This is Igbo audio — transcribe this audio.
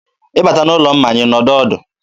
ị bata n'ụlọ mmanya, ị nọdụ ọdụ.